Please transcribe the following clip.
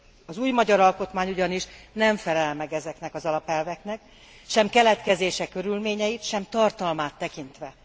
Az új magyar alkotmány ugyanis nem felel meg ezeknek az alapelveknek sem keletkezése körülményeit, sem tartalmát tekintve.